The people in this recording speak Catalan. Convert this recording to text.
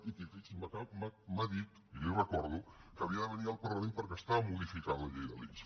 i que fixi’s m’ha dit i li ho recordo que havia de venir al parlament perquè estava modificant la llei de l’ics